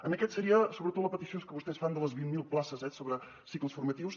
en aquest seria sobretot la petició que vostès fan de les vint mil places eh sobre cicles formatius